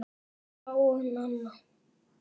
Vala og Nanna.